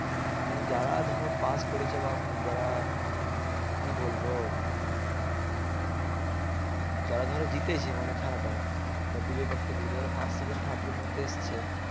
মানে যারা ধরো pass করেছে বা যারা কি বলবো যারা ধরো জিতেছে মানে খেলাটা বা বিজয় প্রাপ্তি করেছে যারা first second third এর মধ্যে এসছে